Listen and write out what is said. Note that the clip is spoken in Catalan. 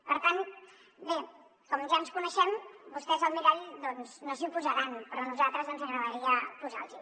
per tant bé com ja ens coneixem vostès al mirall no s’hi posaran però a nosaltres ens agradaria posar los hi